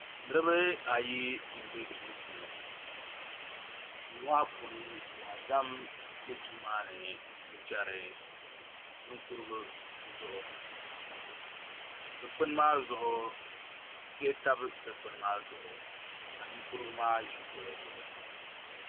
Niraba ayi n bɛ duu puuni duu maa puuni wonzam bɛ duu maa ni n chɛri ninkurigu zuɣu dikpuni maa zuɣu diɣi tabi dikpuni maa zuɣu ka ninkurigu maa ʒi kuɣu zuɣu